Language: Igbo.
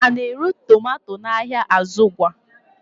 A na-ere tomato n'ahịa azugwu?